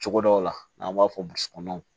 Cogo dɔw la n'an b'a fɔ